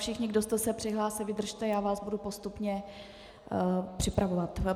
Všichni, kdo jste se přihlásili, vydržte, já vás budu postupně připravovat.